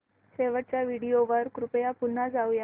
शेवटच्या व्हिडिओ वर कृपया पुन्हा जाऊयात